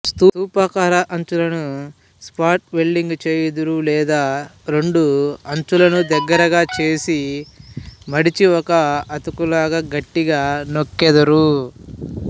స్తూపాకారఅంచులను spot welding చేయుదురు లేదా రెండుఅంచులను దగ్గరగా చేసి మడిఛి ఒక అతుకులాగా గట్టిగా నొక్కెదరు